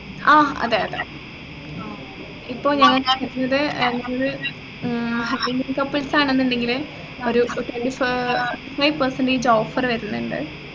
ആഹ് അതെയതെ ഇപ്പൊ ഞങ്ങൾക്ക് ഏർ ഞങ്ങള് ഏർ indian couples ആണെന്നുണ്ടെങ്കിൽ ഒരു twenty five percentage offer വരുന്നുണ്ട്